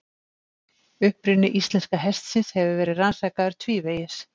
Uppruni íslenska hestsins hefur verið rannsakaður tvívegis.